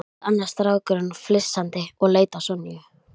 Gerist ekkert áður en félagaskiptaglugginn lokar?